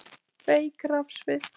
Veik rafsvið